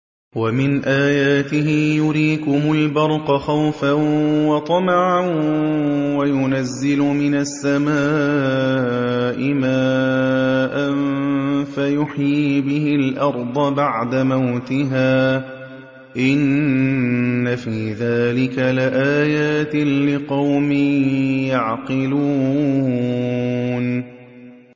وَمِنْ آيَاتِهِ يُرِيكُمُ الْبَرْقَ خَوْفًا وَطَمَعًا وَيُنَزِّلُ مِنَ السَّمَاءِ مَاءً فَيُحْيِي بِهِ الْأَرْضَ بَعْدَ مَوْتِهَا ۚ إِنَّ فِي ذَٰلِكَ لَآيَاتٍ لِّقَوْمٍ يَعْقِلُونَ